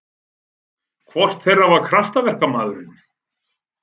Hvor þeirra var kraftaverkamaðurinn?